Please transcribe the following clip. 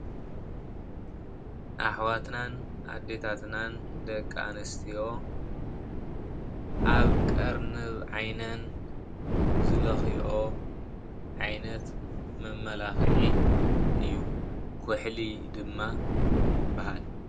ኣሕዋትናን ኣዴታትናን ደቂ ኣንስትዮ ኣብ ቀርንብ ዓይነን ዝለክይኦ ዓይነት መማላክዒ እዩ። ኩሕሊ ድማ ይባሃል፡፡